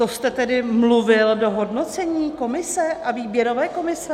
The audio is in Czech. To jste tedy mluvil do hodnocení Komise a výběrové komise?